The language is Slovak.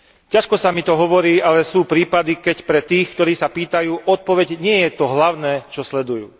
Ťažko sa mi to hovorí, ale sú prípady, keď pre tých, ktorí sa pýtajú, odpoveď nie je to hlavné, čo sledujú.